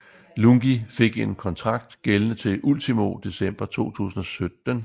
Lungi fik en kontrakt gældende til ultimo december 2017